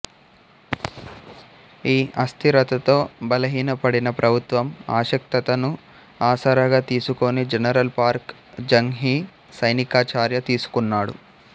ఈ అస్థిరతతో బలహీనపడిన ప్రభుత్వం అశక్తతను ఆసరాగా తీసుకుని జనరల్ పార్క్ జంగ్ హీ సైనికచర్య తీసుకున్నాడు